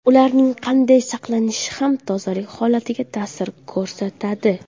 Ularning qanday saqlanishi ham tozalik holatiga ta’sir ko‘rsatadi.